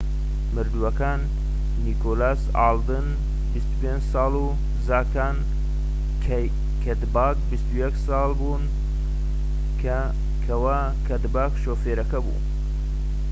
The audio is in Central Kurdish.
مردووەکان نیکۆلاس ئالدن 25 ساڵ و زاکاری کەدباک 21 ساڵ بوون کەوا کەدباک شوفێرەکە بوو